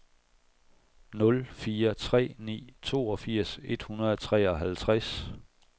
nul fire tre ni toogfirs et hundrede og treoghalvtreds